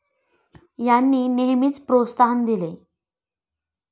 यांनी नेहेमीच प्रोत्साहन दिले.